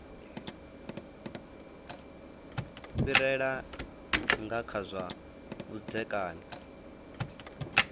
fhirela nga kha zwa vhudzekani